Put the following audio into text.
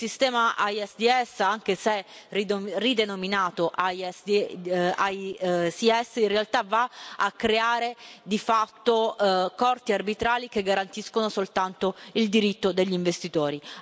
Il sistema ISDS, anche se ridenominato ICS, in realtà va a creare di fatto Corti arbitrali che garantiscono soltanto il diritto degli investitori.